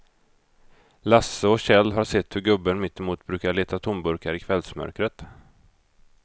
Lasse och Kjell har sett hur gubben mittemot brukar leta tomburkar i kvällsmörkret.